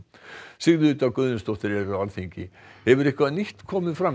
Sigríður Dögg Auðunsdóttir er á Alþingi hefur eitthvað nýtt komið fram